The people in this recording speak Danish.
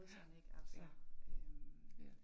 Ja, ja, ja